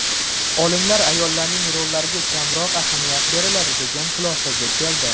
Olimlar ayollarning rollariga kamroq ahamiyat beriladi, degan xulosaga keldi.